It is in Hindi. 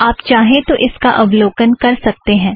आप चाहें तो इसका अवलोकन कर सकतें हैं